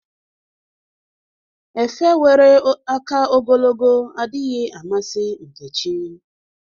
Efe nwere aka ogologo adịghị amasi Nkechi.